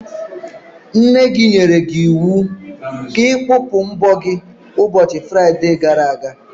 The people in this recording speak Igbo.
Nne gị nyere gị iwu ka ị kpụpụ mbọ gị n'ụbọchị Fraide gara aga.